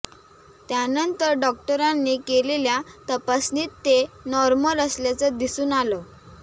त्यानंतर डॉक्टरांनी केलेल्या तपासणीत ते नॉर्मल असल्याचं दिसून आलं